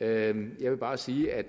jeg vil vil bare sige at